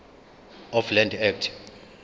of land act